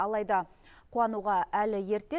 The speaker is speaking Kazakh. алайда қуануға әлі ерте